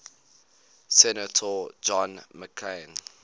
senator john mccain